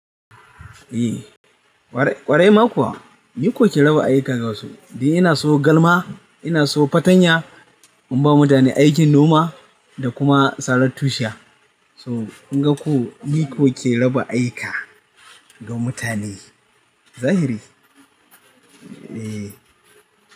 Eh, ƙwarai ma kuwa. Ni koke raba aiki ga wasu. Dan ina sayo galma, ina sayo fartanya, in ba mutane aikin noma da kuma sarar tushiya. So kun ga ko ni koke raba aika ga mutane. Zahiri? Eh.